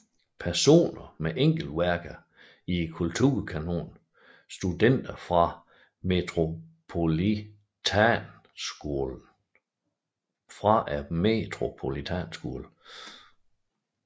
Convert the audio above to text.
Personer med enkeltværker i Kulturkanonen Studenter fra Metropolitanskolen